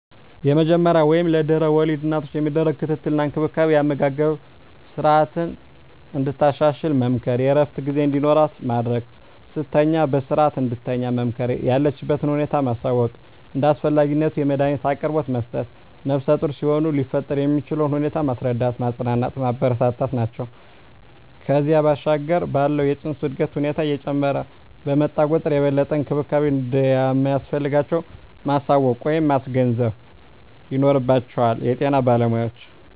የመጀመሪያ ወይም ለድሕረ ወሊድ እናቶች የሚደረግ ክትትል እና እንክብካቤ የአመጋገብ ስረዓትን እንድታሻሽል መምከር፣ የእረፍት ጊዜ እንዲኖራት ማድረግ፣ ስትተኛ በስረዓት እንድትተኛ መምከር፣ የለችበትን ሁኔታ ማሳወቅ፣ እንደ አስፈላጊነቱ የመዳኒት አቅርቦት መስጠት፣ ነፍሰጡር ሲሆኑ ሊፈጠር የሚችለውን ሁኔታ ማስረዳት፣ ማፅናናት፣ ማበረታታት ናቸው። ከዚያ ባሻገር ባለው የፅንሱ የእድገት ሁኔታ እየጨመረ በመጣ ቁጥር የበለጠ እንክብካቤ እንደሚያስፈልጋቸው ማሳወቅ ወይም ማስገንዘብ ይኖርባቸዋል የጤና ባለሞያዎች።